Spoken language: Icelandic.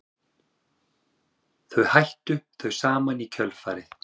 Þau hættu þau saman í kjölfarið